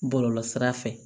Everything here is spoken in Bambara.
Bɔlɔlɔ sira fɛ